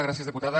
gràcies diputada